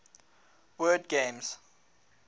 word games